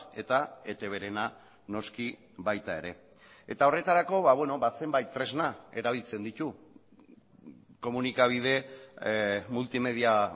eta etbrena noski baita ere eta horretarako zenbait tresna erabiltzen ditu komunikabide multimedia